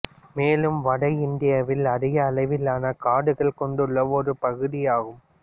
மேலும் வட இந்தியாவில் அதிக அளவிலான காடுகளைக் கொண்டுள்ள ஒரு பகுதியாகும்